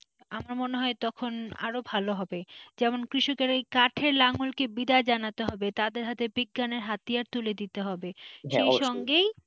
আমার মনে হয় তখন আরো ভালো হবে যেমন কৃষকেরা কাঠের নাগলকে বিদায় জানাতে হবে তাদের হাতে বিজ্ঞানের হাতিয়া তুলে দিতে হবে সেই সঙ্গে।